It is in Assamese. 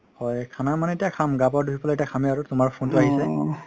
হয় খানা মানে এতিয়া খাম গা পা ধুই পেলাই খামে আৰু তুমাৰ phone তো আহিছে